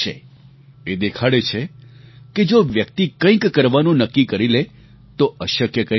એ દેખાડે છે કે જો વ્યક્તિ કંઈક કરવાનું નક્કી કરી લે તો અશક્ય કંઈ પણ નથી